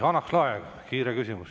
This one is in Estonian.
Hanah Lahe, kiire küsimus.